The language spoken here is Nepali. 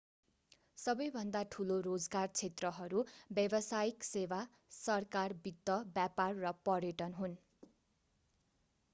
सबै भन्दा ठूलो रोजगार क्षेत्रहरू व्यावसायिक सेवा सरकार वित्त व्यापार र पर्यटन हुन्